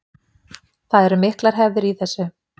Það eru miklar hefðir í þessu